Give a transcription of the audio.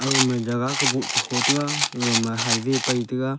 aga ma jaga boh ho tai ga aga ma highway pai taiga.